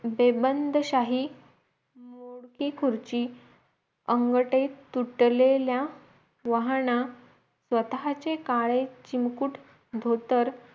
बेबंद शाही मोडकी खुर्ची आंगठे तुटलेल्या वाहना स्वतःचे काळे चिंकूट धोतर